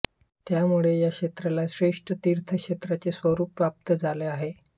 त्यामुळे या क्षेत्राला श्रेष्ठ तीर्थक्षेत्राचे स्वरूप प्राप्त झाले आहे